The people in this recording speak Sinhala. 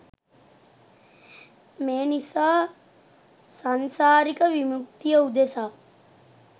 මේ නිසා සංසාරික විමුක්තිය උදෙසා